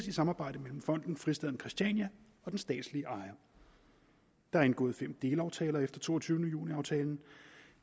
et samarbejde mellem fonden fristaden christiania og den statslige ejer der er indgået fem delaftaler efter toogtyvende juni aftalen og